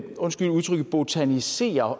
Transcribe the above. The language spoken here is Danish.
undskyld udtrykket botanisere